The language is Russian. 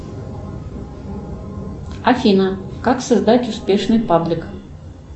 афина как создать успешный паблик